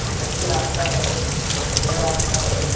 कच्ची रास्ता है । यह रास्ता के --